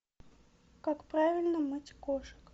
как правильно мыть кошек